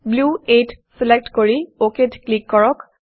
Blue 8 select কৰি OKত click কৰক